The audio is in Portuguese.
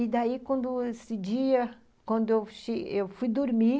E daí, quando esse dia, quando eu fui dormir...